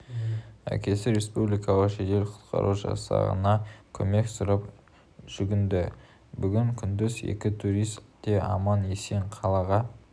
әкесі республикалық жедел құтқару жасағына көмек сұрап жүгінді бүгін күндіз екі турист те аман-есен қалаға